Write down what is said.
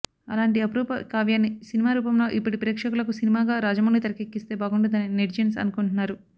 అలాంటి అపూరూప కావ్యాన్ని సినిమా రూపంలో ఇప్పటి ప్రేక్షకులకు సినిమాగా రాజమౌళి తెరకెక్కిస్తే బాగుంటుందని నెటిజన్స్ అనుకుంటున్నారు